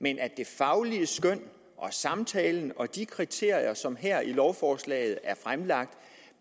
men at det faglige skøn og samtalen og de kriterier som her i lovforslaget er fremlagt